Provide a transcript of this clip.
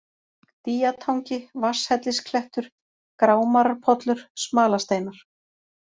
Dýjatangi, Vatnshellisklettur, Grámararpollur, Smalasteinar